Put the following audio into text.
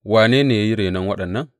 Wane ne ya yi renon waɗannan?